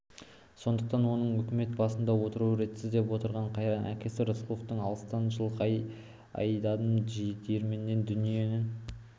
сондықтан оның өкімет басында отыруы ретсіз деп отырған қайран әкесі рысқұлдың алыстан жылқы айдадым жиренменен дүние